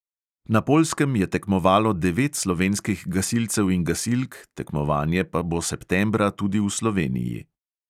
Na poljskem je tekmovalo devet slovenskih gasilcev in gasilk, tekmovanje pa bo septembra tudi v sloveniji.